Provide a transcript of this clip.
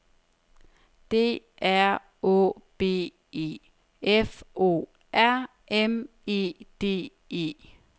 D R Å B E F O R M E D E